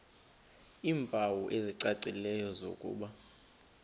iimpawu ezicacileyo zokuba